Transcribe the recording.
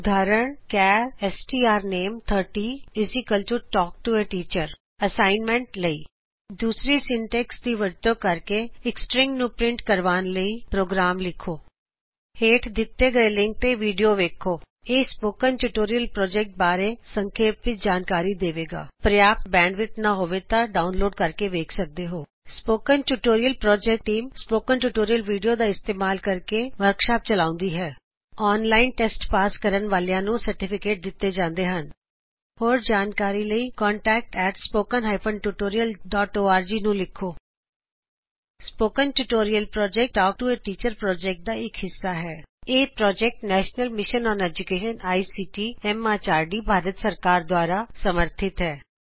ਉਦਾਹਰਨ ਚਾਰ strname30 talk to A teacher assignment assignment ਅਭਿਆਸ ਲਈ ਦੂਸਰੀ ਸਿੰਟੈਕਸ ਦੀ ਵਰਤੋ ਕਰਕੇ ਇਕ ਸ੍ਟ੍ਰਿੰਗ ਨੂੰ ਪ੍ਰਿੰਟ ਕਰਵਾਣ ਲਈ ਪ੍ਰੋਗਰਾਮ ਲਿਖੋ ਹੇਂਠ ਦਿੱਤੇ ਲਿੰਕ ਤੇ ਦਿੱਤੀ ਵਿਡੀਓ ਵੇਖੋ ਇਹ ਸਪੋਕਨ ਟਯੁਟੋਰਿਅਲ ਪ੍ਰੋਜੇਕਟ ਬਾਰੇ ਸਂਖੇਪ ਵਿੱਚ ਜਾਨਕਾਰੀ ਦੇਵੇ ਗਾ ਅਗਰ ਤੁਹਾਡੇ ਕੋਲ ਪਰਯਾਪ੍ਤ ਬੈਡਵਿਡਥ ਨਾਂ ਹੋਵੇ ਤਾਂ ਤੁਸੀਂ ਡਾਉਨਲੋਡ ਕਰਕੇ ਵੀ ਦੇਖ ਸਕਦੇ ਹੋਣ spoken tutorial project team spoken tutorial video ਦਾ ਇਸਤੇਮਾਲ ਕਰਕੇ ਵਰ੍ਕਸ਼ਾਪਸ ਚਲਾਉਂਦੀ ਹੈ ਜੇਹੜੇ ਓਨਲਾਇਨ ਟੇਸਟ ਪਾਸ ਕਰਦੇ ਹਨ ਉਹਨਾ ਨੂੰ ਸਰਟੀਫਿਕੇਟ ਦਿੱਤੇ ਜਾਂਦੇ ਹਨ ਹੋਰ ਜਾਣਕਾਰੀ ਲਈ contactspoken tutorialorg ਨੂੰ ਲਿਖੋ spoken tutorial project talk to a teacher project ਦਾ ਹਿੱਸਾ ਹੈ ਇਹ project national mission on education I C T M H R D the national mission on education ICT MHRD Bharat ਸਰਕਾਰ ਦ੍ਵਾਰਾ ਸਮਰਥਿਤ ਹੈ